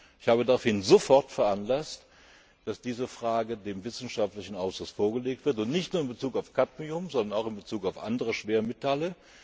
Ich habe daraufhin sofort veranlasst, dass diese Frage dem wissenschaftlichen Ausschuss vorgelegt wird, und nicht nur in Bezug auf Kadmium, sondern auch in Bezug auf andere Schwermetalle.